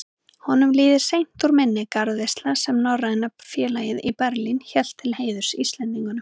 Honum líður seint úr minni garðveisla, sem Norræna félagið í Berlín hélt til heiðurs Íslendingunum.